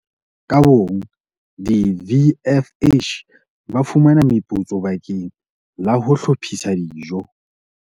Ka bong, di-VFH ba fumana meputso bakeng la ho hlophisa dijo.